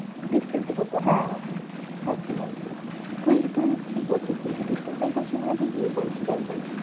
distance এ করতে হ্যাঁ একদম একদম। তুই তুই কি করছিস? তুই কি distance এই করছিস নাকি গিয়ে করছিস একদম?